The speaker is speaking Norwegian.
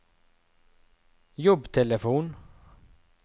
jobbtelefon